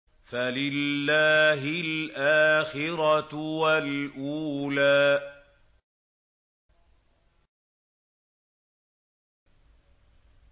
فَلِلَّهِ الْآخِرَةُ وَالْأُولَىٰ